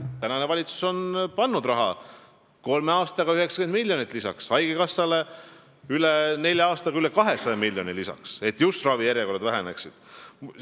Praegune valitsus on pannud sinna kolme aastaga 90 miljonit lisaks ja haigekassale nelja aastaga üle 200 miljoni lisaks, et just ravijärjekorrad lüheneksid.